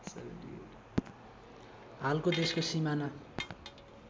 हालको देशको सिमाना